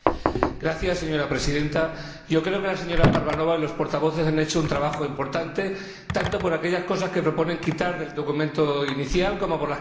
Señora Presidenta, creo que la señora Parvanova y los portavoces han hecho un trabajo importante, tanto por aquellas cosas que proponen quitar del documento inicial como por las que añaden.